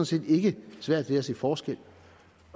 set ikke svært ved at se forskel